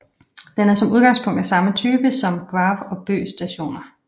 Den er som udgangspunkt af samme type som ved Gvarv og Bø Stationer